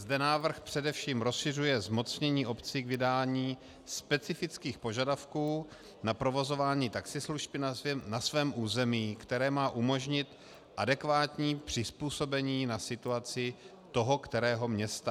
Zde návrh především rozšiřuje zmocnění obcí k vydání specifických požadavků na provozování taxislužby na svém území, které má umožnit adekvátní přizpůsobení na situaci toho kterého města.